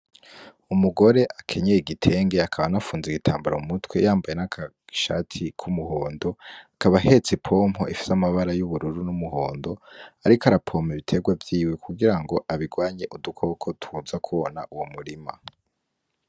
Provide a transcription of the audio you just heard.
Umugore akenyeye igitenge akaba anafunze igitambara mu mutwe akaba yambaye n'agashati ku muhondo akaba ahetse ipompo ifise amabara y'ubururu n'umuhondo ariko arapompa ibiterwa vyiwe ku girango abirwanye udu koko twoza kona uwo murima.